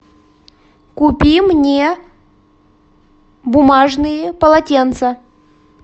купи мне бумажные полотенца